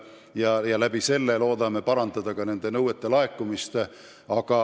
Selle abil loodame parandada nende nõuete täitmist.